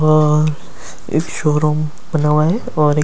अ एक शोरुम बना हुआ है ओर एक--